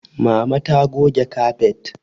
Mama ta goge kafet